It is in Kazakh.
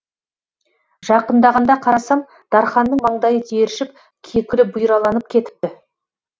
жақындағанда қарасам дарханның маңдайы тершіп кекілі бұйраланып кетіпті